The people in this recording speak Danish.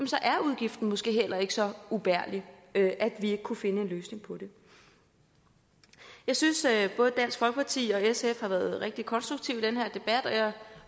så er udgiften måske heller ikke så ubærlig at vi ikke kunne finde en løsning på det jeg synes at både dansk folkeparti og sf har været rigtig konstruktive i den her debat